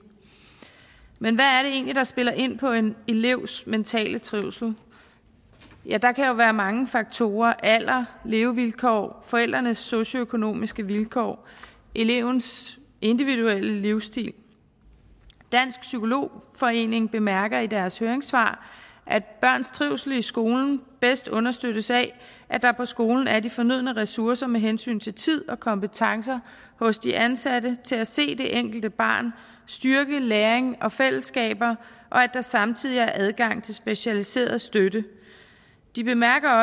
men hvad er det egentlig der spiller ind på en elevs mentale trivsel ja der kan jo være mange faktorer alder levevilkår forældrenes socioøkonomiske vilkår elevens individuelle livsstil dansk psykolog forening bemærker i deres høringssvar at børns trivsel i skolen bedst understøttes af at der på skolen er de fornødne ressourcer med hensyn til tid og kompetencer hos de ansatte til at se det enkelte barn styrke læring og fællesskaber og at der samtidig er adgang til specialiseret støtte de bemærker